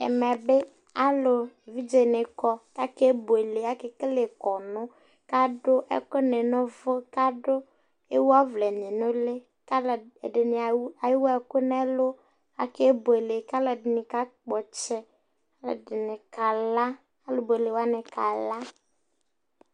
ɛmɛ bi alo evidze ni kɔ k'ake buele ake kele kɔnu k'ado ɛkò ni no uvò k'ado ewu ɔvlɛ ni no uli k'alo ɛdini ewu ɛkò n'ɛlu ake buele k'aloɛdini k'akpɔ ɔtsɛ aloɛdini kala alo buele wani kala